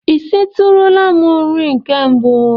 I sitụrụla m nri nke mbụ?